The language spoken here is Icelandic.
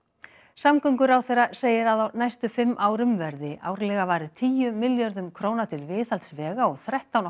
samgönguráðherra segir að á næstu fimm árum verði árlega varið tíu milljörðum króna til viðhalds vega og þrettán og